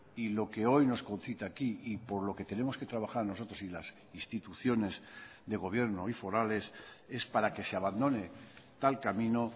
y lo que hoy nos concita aquí y por lo que tenemos que trabajar nosotros y las instituciones de gobierno y forales es para que se abandone tal camino